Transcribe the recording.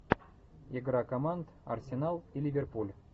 игра команд арсенал и ливерпуль